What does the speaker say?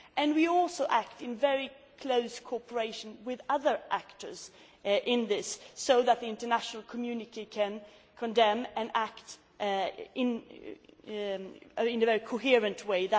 We are also acting in very close cooperation with other actors in this, so that the international community can condemn and act in a very coherent way.